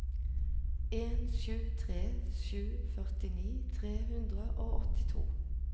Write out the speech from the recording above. en sju tre sju førtini tre hundre og åttito